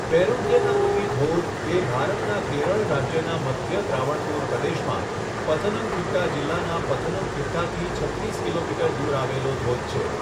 પેરુન્થેનારુવી ધોધ એ ભારતના કેરળ રાજ્યના મધ્ય ત્રાવણકોર પ્રદેશમાં પથનમથિટ્ટા જીલ્લાના પથનમથિટ્ટાથી છત્રીસ કિલોમીટર દૂર આવેલો ધોધ છે.